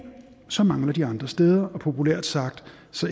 mangler de andre steder og populært sagt